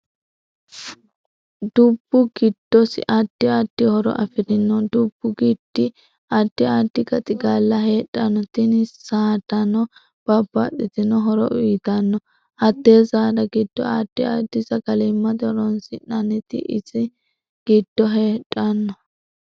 Dubbu giddosi addi addi horo afirinno dubbu giddi addi addi gaxigalla heedhanno tini saadanno babbbaxitino horo uyiitanno hatte saada giddo addi addi sagalimate horoonsinaniti ise giddo heedhanno